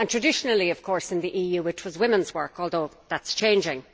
Traditionally, of course, in the EU, it was women's work, although that is changing.